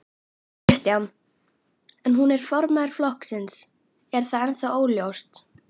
Kristján: En hún er formaður flokksins, er það ennþá óljóst?